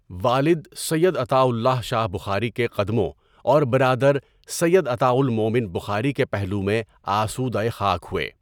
والد سید عطاء اللہ شاہ بخاری کے قدموں اور برادر سید عطاء المؤمن بخاری کے پہلو میں آسودۂ خاک ہوئے۔